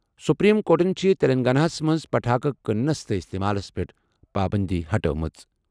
Supreme کورٹَن چھِ تیٚلنٛگاناہَس منٛز پٹاخہٕ کٕنَس تہٕ اِستعمالَس پٮ۪ٹھ پابٔنٛدی ہٹٲومٕژ۔